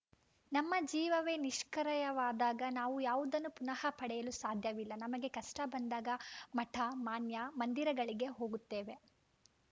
ನಮ್ಮ ಜೀವವೇ ನಿಷ್ಕ್ರಯವಾದಾಗ ನಾವು ಯಾವುದನ್ನೂ ಪುನಃ ಪಡೆಯಲು ಸಾಧ್ಯವಿಲ್ಲ ನಮಗೆ ಕಷ್ಟಬಂದಾಗ ಮಠ ಮಾನ್ಯ ಮಂದಿರಗಳಿಗೆ ಹೋಗುತ್ತೇವೆ